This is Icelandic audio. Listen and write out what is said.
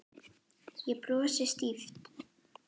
Ég brosi stíft.